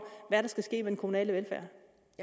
hvad der skal ske med den kommunale velfærd